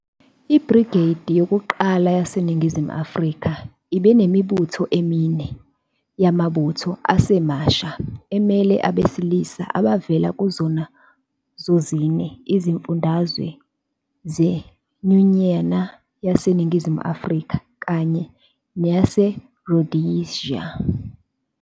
IBrigade yokuqala yaseNingizimu Afrika ibinemibutho emine yamabutho asemasha, emele abesilisa abavela kuzona zozine izifundazwe zeNyunyana yaseNingizimu Afrika, kanye naseRhodesia.